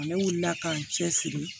Ne wulila ka n cɛ siri